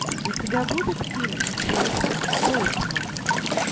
у тебя будет фильм джейсон бейтман